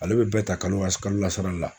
Ale be bɛɛ ta kalo wa s kalo la sara la